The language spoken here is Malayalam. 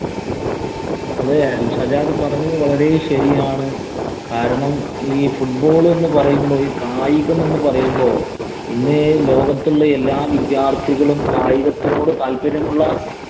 അതെ, സജാദ് പറഞ്ഞത് വളരെ ശരിയാണ്. കാരണം, ഈ football എന്ന് പറയുമ്പം, ഈ കായികം എന്ന് പറയുമ്പോ ഇന്നേ ലോകത്തുള്ള എല്ലാ വിദ്യാര്‍ത്ഥികളും കായികത്തിനോട് താല്പര്യമുള്ള